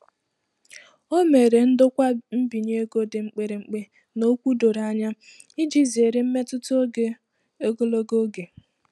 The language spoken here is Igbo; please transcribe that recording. O mere ndokwa mbinye ego dị mkpirikpi na okwu doro anya iji zere mmetụta ego ogologo oge.